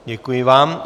Děkuji vám.